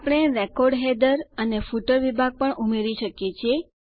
આપણે record header અને footer વિભાગ પણ ઉમેરી શકીએ છીએ